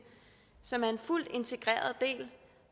som er en fuldt integreret del